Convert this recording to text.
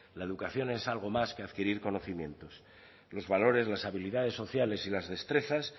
la educación es algo más que adquirir conocimiento los valores las habilidades sociales y las destrezas